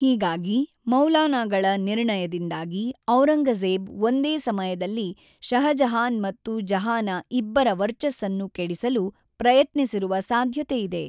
ಹೀಗಾಗಿ, ಮೌಲಾನಾಗಳ ನಿರ್ಣಯದಿಂದಾಗಿ ಔರಂಗಜೇಬ್ ಒಂದೇ ಸಮಯದಲ್ಲಿ ಶಹಜಹಾನ್ ಮತ್ತು ಜಹಾನಾ ಇಬ್ಬರ ವರ್ಚಸ್ಸನ್ನು ಕೆಡಿಸಲು ಪ್ರಯತ್ನಿಸಿರುವ ಸಾಧ್ಯತೆಯಿದೆ.